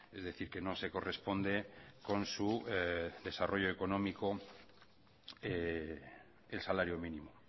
es decir que no se corresponde con su desarrollo económico el salario mínimo